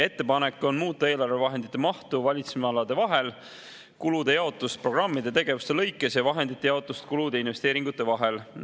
Ettepanek on muuta eelarvevahendite mahtu valitsemisalade vahel, kulude jaotust programmide tegevuste lõikes ja vahendite jaotust kulude ja investeeringute vahel.